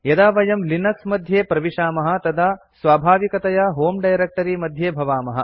यदा वयं लिनक्स मध्ये प्रविशामः तदा स्वाभाविकतया होमे डायरेक्ट्री मध्ये भवामः